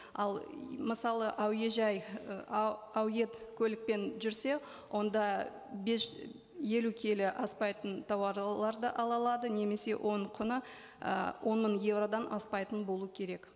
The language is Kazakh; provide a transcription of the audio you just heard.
ал мысалы әуежай і көлікпен жүрсе онда елу келі аспайтын тауарларды ала алады немесе оның құны ы он мың еуродан аспайтын болу керек